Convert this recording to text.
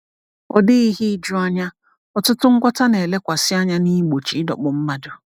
Ọ dịghị ihe ijuanya, ọtụtụ ngwọta na-elekwasị anya na igbochi ịdọkpụ mmadụ.